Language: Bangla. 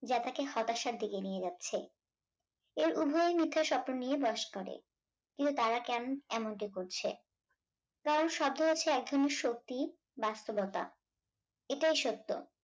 যা তাকে হতাশার দিকে নিয়ে যাচ্ছে এর উভয় মিথ্যে স্বপ্ন নিয়ে বাস করে কিন্তু তারা কেন এমনটি করছে তার সাধ্য আছে এক ধরনের সত্যিই বাস্তবতা এটাই সত্য